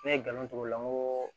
Ne ye galon t'o la n ko